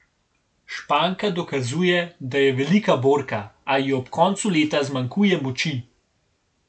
Španka dokazuje, da je velika borka, a ji ob koncu leta zmanjkuje moči.